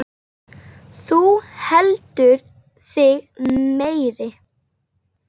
Þú heldur þig meiri.